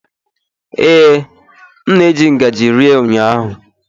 Ee, m na-eji ngaji rie ụnyaahụ.